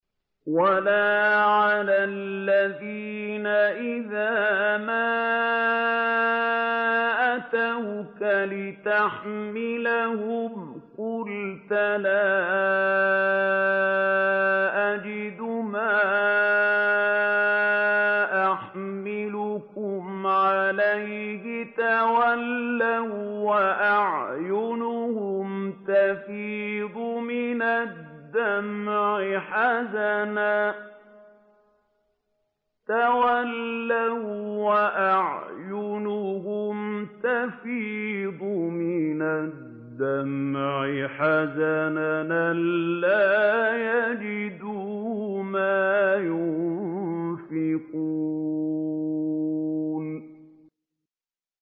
وَلَا عَلَى الَّذِينَ إِذَا مَا أَتَوْكَ لِتَحْمِلَهُمْ قُلْتَ لَا أَجِدُ مَا أَحْمِلُكُمْ عَلَيْهِ تَوَلَّوا وَّأَعْيُنُهُمْ تَفِيضُ مِنَ الدَّمْعِ حَزَنًا أَلَّا يَجِدُوا مَا يُنفِقُونَ